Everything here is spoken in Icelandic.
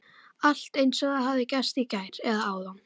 Allt eins og það hefði gerst í gær, eða áðan.